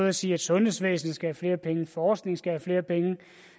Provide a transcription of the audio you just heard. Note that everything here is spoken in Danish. at sige at sundhedsvæsenet skal have flere penge forskningen skal have flere penge